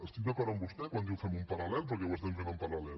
estic d’acord amb vostè quan diu femho en parallel perquè ho estem fent en paral·lel